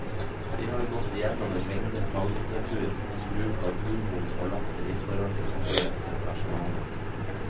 De har gått igjennom en mengde faglitteratur om bruk av humor og latter i forholdet til pasienter og personale.